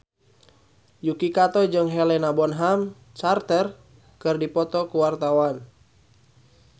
Yuki Kato jeung Helena Bonham Carter keur dipoto ku wartawan